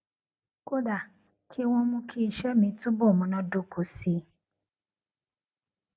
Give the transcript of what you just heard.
kódà kí wón mú kí iṣé mi túbò múnádóko sí i